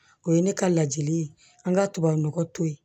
O ye ne ka ladili ye an ka tubabunɔgɔ to ye